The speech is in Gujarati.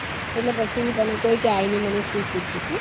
એટલે પછી હું તને કઉ આઈ ને મને શું પૂછ્યું હો